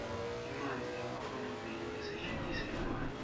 imali yakangluane isetjentiselwani